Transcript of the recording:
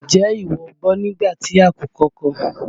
N jẹ́ ìwọ gbọ́ nígbà tí àkùkọ kọ?